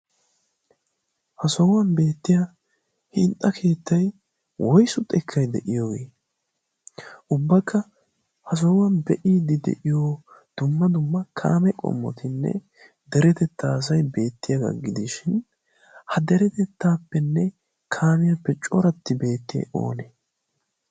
ha sohuwan beettiya hinxxa keettai woisu xekkai de'iyoogii ubbakka ha sohuwan be'i di de'iyo dumma dumma kaame qommotinne deretettaa asai beettiyaa gaggidiishin ha deretettaappenne kaamiyaappe cooratti beetti oonee?